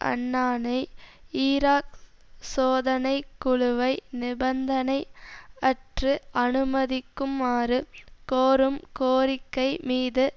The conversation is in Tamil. அன்னானை ஈராக் சோதனை குழுவை நிபந்தனை அற்று அனுமதிக்குமாறு கோரும் கோரிக்கை மீது